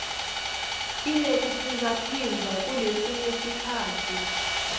inekuphindzaphindza kulesinye sikhatsi